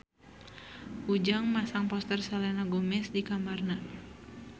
Ujang masang poster Selena Gomez di kamarna